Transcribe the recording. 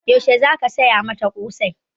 Yaushe za ka saya mata ƙosai?